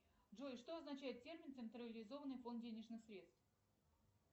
джой что означает термин централизованный фонд денежных средств